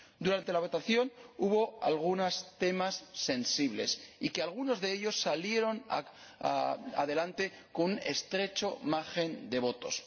Durante la votación hubo algunos temas sensibles y algunos de ellos salieron adelante con un estrecho margen de votos.